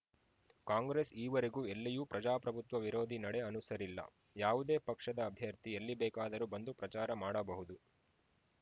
ಕಾಂಗ್ರೆಸ್‌ ಈವರೆಗೂ ಎಲ್ಲಿಯೂ ಪ್ರಜಾಪ್ರಭುತ್ವ ವಿರೋಧಿ ನಡೆ ಅನುಸರಿಲ್ಲ ಯಾವುದೇ ಪಕ್ಷದ ಅಭ್ಯರ್ಥಿ ಎಲ್ಲಿಬೇಕಾದರೂ ಬಂದು ಪ್ರಚಾರ ಮಾಡಬಹುದು